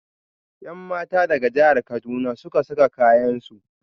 Yanmata daga jahar kaduna suka saka kayansu.